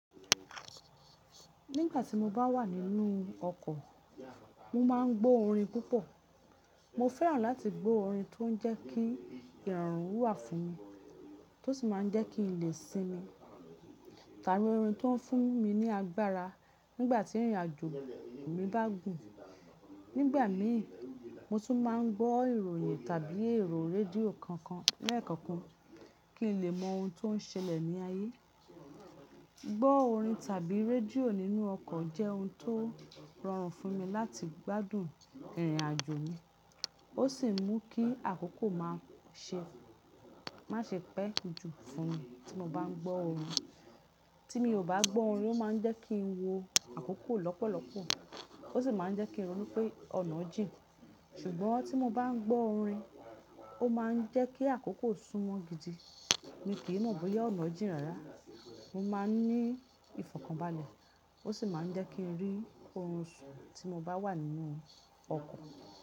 Nígbà tí mo bá wà nínú ọkọ̀, mo máa ń gbọ́ orin púpọ̀. Mo fẹ́ràn láti gbọ́ orin tó ń jẹ́ kí ìrọ̀rùn wà fún mi, tó sì máa ń jẹ́ kí n lè sinmi, tàbí orin tó ń fún mi ní agbára nígbà tí ìrìnàjò mi bá gùn. Nígbà mi i, mo tún máa ń gbọ́ ìròyìn tàbí ẹ̀rọ rédíò kankan lẹ́ẹ̀kọ̀kan kí n lè mọ ohun tó ń ṣẹlẹ̀ ní ayé. Gbọ́ orin tàbí rédíò nínú ọkọ̀ jẹ́ ohun tó rọrùn fún mi láti gbádùn ìrìnàjò mi. Ó sì ń mú kí àkókò má ṣe pẹ́ jù fún mi tí mo bá ń gbọ́ orin. Tí mi ò bá gbọ́ orin, ó máa ń jẹ́ kí n wo àkókò lọ́pọ̀lọpọ̀. Ó sì máa ń jẹ́ kí n rò pé ọ̀nà jìn. Ṣùgbọ́n tí mo bá ń gbọ́ orin, ó máa ń jẹ́ kí àkókò súnmọ́ gidi. Mi kì í mọ̀ bóyá ọ̀nà jìn rárá. Mo máa ń ní ìfọ̀kànbalẹ̀. Ó sì máa ń jẹ́ kí n rí ohun tí mo bá wà nínú ọkọ̀.